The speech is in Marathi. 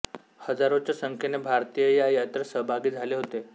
हजारोंच्या संख्येने भारतीय या यात्रेत सहभागी झाले होते